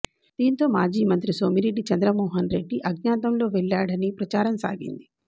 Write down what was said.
దీంతో మాజీ మంత్రి సోమిరెడ్డి చంద్రమోహన్ రెడ్డి అజ్ఞాతంలో వెళ్లాడని ప్రచారం సాగింది